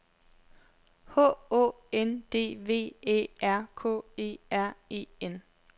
H Å N D V Æ R K E R E N